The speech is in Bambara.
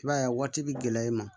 I b'a ye a waati bɛ gɛlɛya i ma